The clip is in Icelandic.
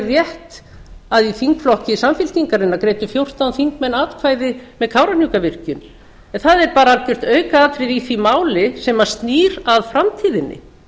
rétt að í þingflokki samfylkingarinnar greiddu fjórtán þingmenn atkvæði með kárahnjúkavirkjun en það er bara algjört aukaatriði í því máli sem snýr að framtíðinni